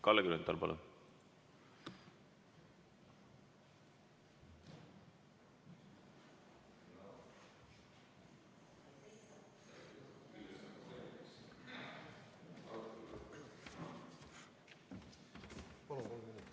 Kalle Grünthal, palun!